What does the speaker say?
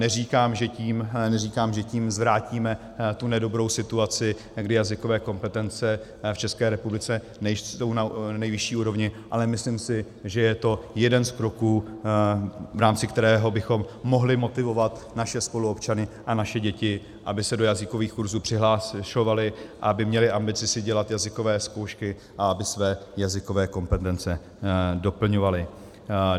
Neříkám, že tím zvrátíme tu nedobrou situaci, kdy jazykové kompetence v České republice nejsou na nejvyšší úrovni, ale myslím si, že je to jeden z kroků, v rámci kterého bychom mohli motivovat naše spoluobčany a naše děti, aby se do jazykových kurzů přihlašovali a aby měli ambici si dělat jazykové zkoušky a aby své jazykové kompetence doplňovali.